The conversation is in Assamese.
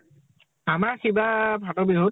আমাৰ সিবাৰ ফাতৰ বিহুত